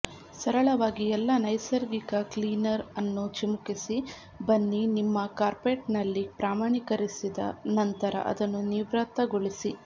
ಸರಳವಾಗಿ ಎಲ್ಲಾ ನೈಸರ್ಗಿಕ ಕ್ಲೀನರ್ ಅನ್ನು ಚಿಮುಕಿಸಿ ಬನ್ನಿ ನಿಮ್ಮ ಕಾರ್ಪೆಟ್ನಲ್ಲಿ ಪ್ರಮಾಣೀಕರಿಸಿದ ನಂತರ ಅದನ್ನು ನಿರ್ವಾತಗೊಳಿಸಿ